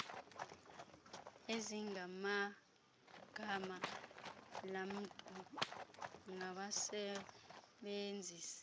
ezingenagama lamntu ngabasebenzisi